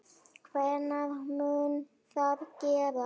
Hvenær mun það gerast?